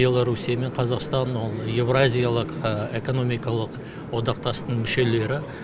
беларусия мен қазақстан ол евразиялық экономикалық одақтастың мүшелері